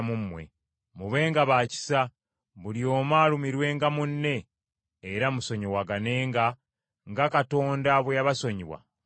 Mubenga ba kisa, buli omu alumirwenga munne, era musonyiwaganenga, nga Katonda bwe yabasonyiwa mu Kristo.